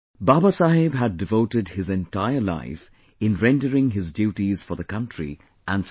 Baba Saheb had devoted his entire life in rendering his duties for the country and society